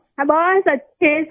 हम बहुत अच्छे हैं सर